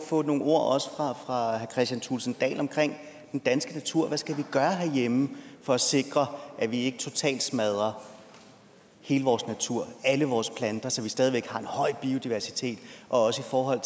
få nogle ord også fra herre kristian thulesen dahl om den danske natur hvad skal vi gøre herhjemme for at sikre at vi ikke totalt smadrer hele vores natur alle vores planter så vi stadig væk har en høj biodiversitet og også i forhold